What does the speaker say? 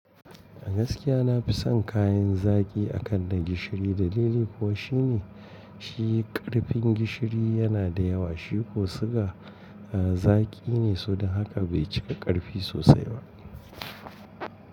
A gaskiya na fi son kayan zaki akan na gishiri. Dalili kuwa shine shi ƙarfin gishiri yana da yawa, shi kuma ko suga zaki ne, sao don haka bai cika ƙarfi sosai ba.